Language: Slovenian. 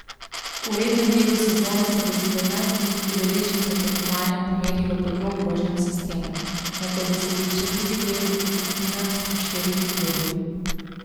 V rednem delu sezone se bo sedemnajst udeležencev tekmovanja pomerilo po dvokrožnem sistemu, nato bo sledil še drugi del v skupinah s po štirimi klubi.